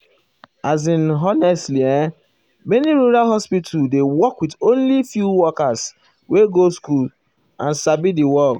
as in honestly[um]many rural hospital dey work with only few workers wey go school and sabi di work.